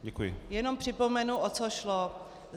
Jenom připomenu, o co šlo.